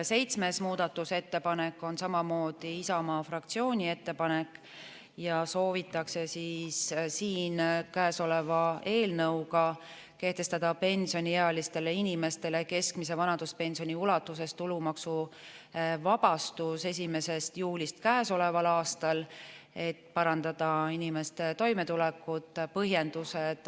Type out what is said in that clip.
Seitsmes muudatusettepanek on samamoodi Isamaa fraktsiooni ettepanek ja soovitakse käesoleva eelnõuga kehtestada pensioniealistele inimestele keskmise vanaduspensioni ulatuses tulumaksuvabastus 1. juulist käesoleval aastal, et parandada inimeste toimetulekut.